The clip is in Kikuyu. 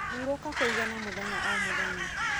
Hurũka kũigana mũthenya o mũthenya.